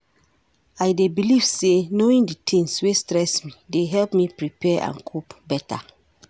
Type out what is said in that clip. I dey believe say knowing di tings wey stress me dey help me prepare and cope beta.